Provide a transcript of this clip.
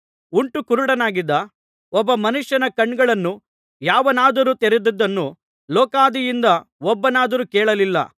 ಹುಟ್ಟು ಕುರುಡನಾಗಿದ್ದ ಒಬ್ಬ ಮನುಷ್ಯನ ಕಣ್ಣುಗಳನ್ನು ಯಾವನಾದರೂ ತೆರೆದಿದ್ದನ್ನು ಲೋಕಾದಿಯಿಂದ ಒಬ್ಬನಾದರೂ ಕೇಳಲಿಲ್ಲ